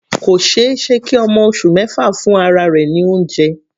Kò ṣeéṣe kí ọmọ oṣù mẹfa fún ara rẹ̀ ní oúnjẹ.